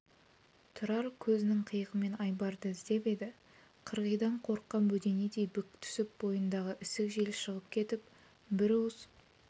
тұрар көзінің қиығымен айбарды іздеп еді қырғидан қорыққан бөденедей бүк түсіп бойындағы ісік жел шығып кетіп бір уыс